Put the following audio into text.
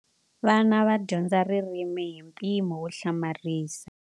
Vana va dyondza ririmi hi mpimo wo hlamarisa.